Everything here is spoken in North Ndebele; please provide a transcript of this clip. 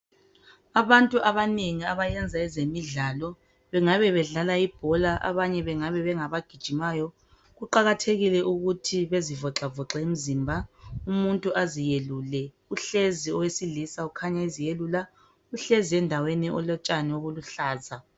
Abantu abanengi abayenza ezemidlalo, bengabe bedlala ibhola abanye bengabe bengabagijimayo. Kuqakathekile ukuthi bezivoxavoxe imizimba umuntu aziyelule, uhlezi owesilisa ukhanya eziyelula uhlezi endawani elotshani obuluhlaza.